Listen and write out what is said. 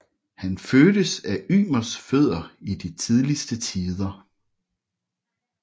Han fødtes af Ymers fødder i de tidligste tider